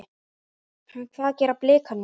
Hvað gera Blikar núna?